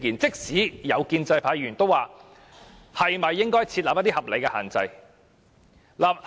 即使建制派議員，也指出應該設立合理的限制。